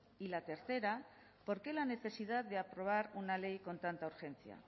y la tercera por qué la necesidad de aprobar una ley con tanta urgencia